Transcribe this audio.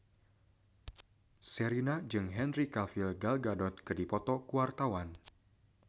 Sherina jeung Henry Cavill Gal Gadot keur dipoto ku wartawan